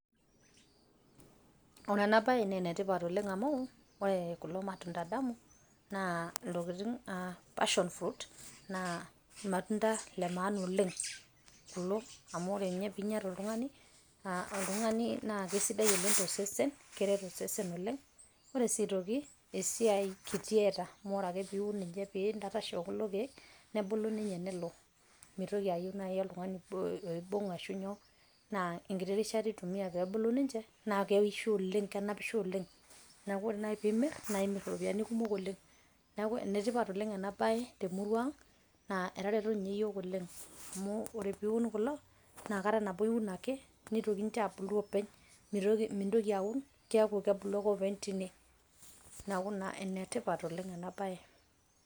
ore ena bae naa ene tipat oleng amu ore kulo matunda tamu naa ilntokitin aa passion fruit naa irmatunda lemaana oleng kulo . amu ore ninye pinya oltungani naa kesidai oleng tosesen , keret osesen oleng . ore si aitoki esiai kiti eata amu ore piun pintapaash okulo kiek nebulu ninye nelo.